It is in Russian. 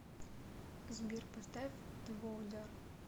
сбер поставь твойдар